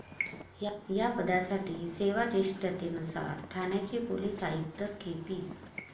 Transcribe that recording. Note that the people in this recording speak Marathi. या पदासाठी सेवाजेष्ठतेनुसार ठाण्याचे पोलीस आयुक्त के. पी.